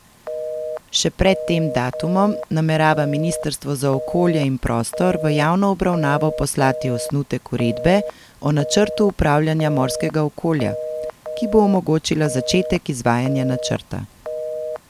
Še pred tem datumom namerava ministrstvo za okolje in prostor v javno obravnavo poslati osnutek uredbe o načrtu upravljanja morskega okolja, ki bo omogočila začetek izvajanja načrta.